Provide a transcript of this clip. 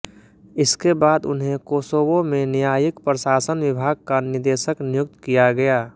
इसके बाद उन्हें कोसोवो में न्यायिक प्रशासन विभाग का निदेशक नियुक्त किया गया